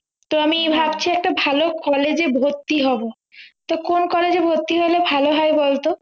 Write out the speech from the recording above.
তো আমি ভাবছি একটা ভালো college এ ভর্তি হবো তো কোন collage এ ভর্তি হলে ভালো হয় বলতো